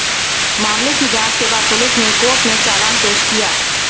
मामले की जांच के बाद पुलिस ने कोर्ट में चालान पेश किया